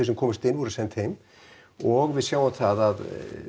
sem komust inn send heim og við sjáum það að